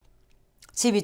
TV 2